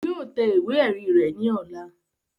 Yóò tẹ ìwé ẹ̀rí rẹ̀ ní ọ̀la